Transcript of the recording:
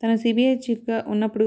తాను సిబిఐ చీఫ్గా ఉన్నప్పుడు